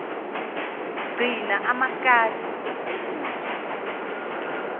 gcina amakati nezinja